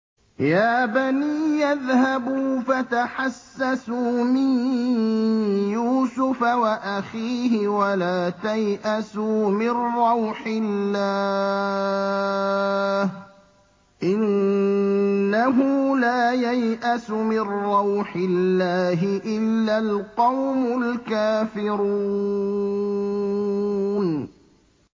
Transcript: يَا بَنِيَّ اذْهَبُوا فَتَحَسَّسُوا مِن يُوسُفَ وَأَخِيهِ وَلَا تَيْأَسُوا مِن رَّوْحِ اللَّهِ ۖ إِنَّهُ لَا يَيْأَسُ مِن رَّوْحِ اللَّهِ إِلَّا الْقَوْمُ الْكَافِرُونَ